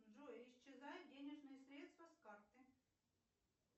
джой исчезают денежные средства с карты